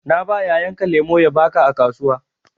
Na ba yayan ka lemu ya baka jiya a kasuwa.